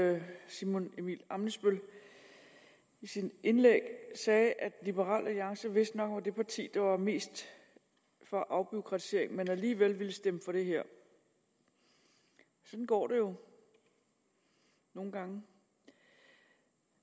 at herre simon emil ammitzbøll i sit indlæg sagde at liberal alliance vist nok var det parti der var mest for afbureaukratisering men alligevel ville stemme for det her sådan går det jo nogle gange